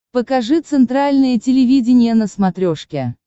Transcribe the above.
покажи центральное телевидение на смотрешке